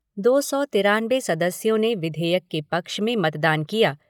दो सौ तिरानवे सदस्यों ने विधेयक के पक्ष में मतदान किया